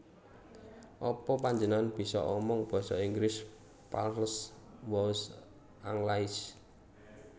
Apa panjenengan bisa omong basa Inggris Parlez vous anglais